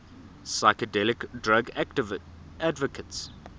psychedelic drug advocates